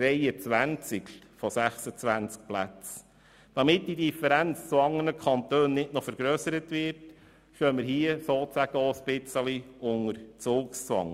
Damit die Differenz zu anderen Kantonen nicht noch vergrössert wird, stehen wir sozusagen unter Zugzwang.